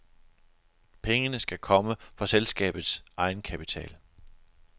Pengene skal komme fra selskabets egenkapital.